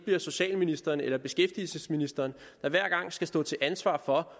er socialministeren eller beskæftigelsesministeren der skal stå til ansvar for